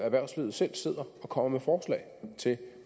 erhvervslivet selv sidder og kommer med forslag til